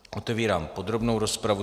Otevírám podrobnou rozpravu.